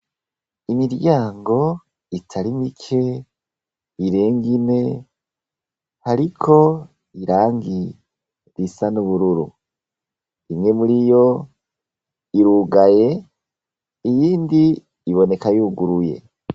Imiryango itari mike irenga ine hariko irangi risa n'ubururu imwe muriyo irugaye iyindi iboneka y'uguruye.